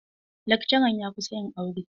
Lakcaran ya kusan yin aure.